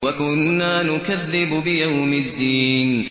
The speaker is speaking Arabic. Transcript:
وَكُنَّا نُكَذِّبُ بِيَوْمِ الدِّينِ